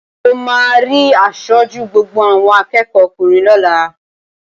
Mo máa rí aṣojú gbogbo àwọn akẹ́ẹ̀kọ́ ọkùnrin lọ́la